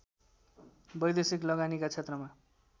वैदेशिक लगानीका क्षेत्रमा